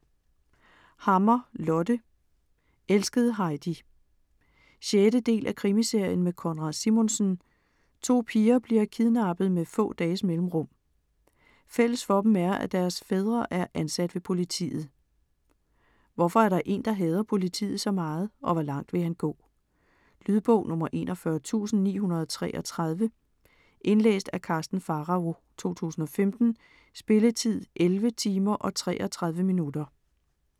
Hammer, Lotte: Elskede Heidi 6. del af Krimiserien med Konrad Simonsen. To piger bliver kidnappet med få dages mellemrum. Fælles for dem er at deres fædre er ansat ved politiet. Hvorfor er der en, der hader politiet så meget og hvor langt vil han gå? Lydbog 41933 Indlæst af Karsten Pharao, 2015. Spilletid: 11 timer, 33 minutter.